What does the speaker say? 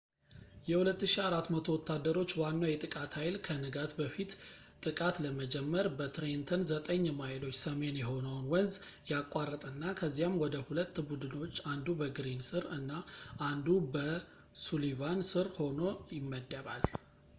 የ2,400 ወታደሮች ዋናው የጥቃት ኃይል ከንጋት በፊት ጥቃት ለመጀመር በትሬንተን ዘጠኝ ማይሎች ሰሜን የሆነውን ወንዝ ያቋርጥና ከዚያም ወደ ሁለት ቡድኖች አንዱ በግሪን ስር እና አንዱ በሱሊቫን ስር ሆኖ ይመደባል